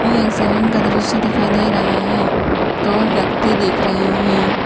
यह एक सैलून का दृश्य दिखाई दे रहा है दो व्यक्ति देख रहे हैं।